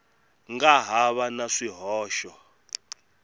nga ha va na swihoxo